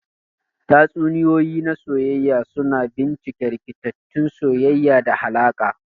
Tatsuniyoyi na soyayya suna bincika rikitattun soyayya da alaƙa.